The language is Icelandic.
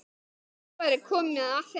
Nú væri komið að þeim.